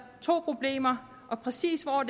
to problemer og præcis hvor